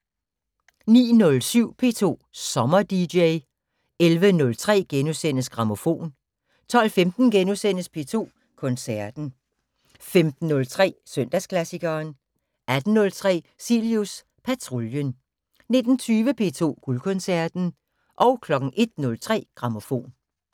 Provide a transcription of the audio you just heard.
09:07: P2 Sommer-dj 11:03: Grammofon * 12:15: P2 Koncerten * 15:03: Søndagsklassikeren 18:03: Cilius Patruljen 19:20: P2 Guldkoncerten 01:03: Grammofon